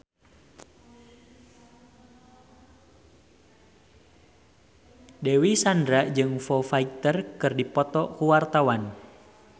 Dewi Sandra jeung Foo Fighter keur dipoto ku wartawan